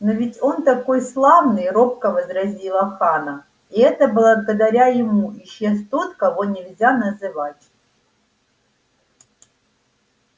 но ведь он такой славный робко возразила ханна и это благодаря ему исчез тот кого нельзя называть